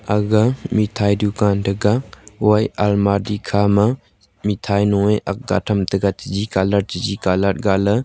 aga mithai dukaan taiga wyah almari khama mithai nu ye ake them tega chiji colour chiji colour gale.